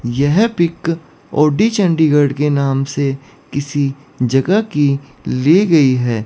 यह pic O T Chandigarh के नाम से किसी जगह की ली गई है।